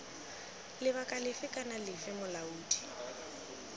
lebaka lefe kana lefe molaodi